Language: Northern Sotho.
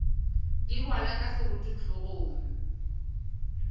di rwalwa ka seroto hlogong